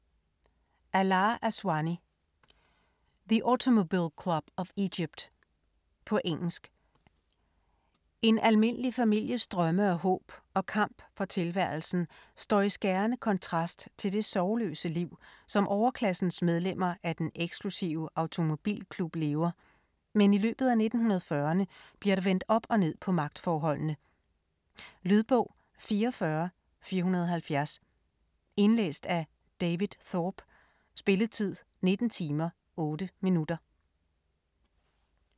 Aswany, Alaa: The Automobile Club of Egypt På engelsk. En almindelig families drømme og håb og kamp for tilværelsen står i skærende kontrast til det sorgløse liv, som overklassens medlemmer af den eksklusive automobilklub lever, men i løbet af 1940'erne bliver der vendt op og ned på magtforholdene. Lydbog 44470 Indlæst af David Thorpe. Spilletid: 19 timer, 8 minutter.